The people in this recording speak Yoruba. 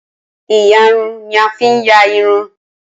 Ìyarun ni a fi ń ya irun